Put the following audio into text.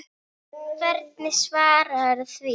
Hvernig svararðu því?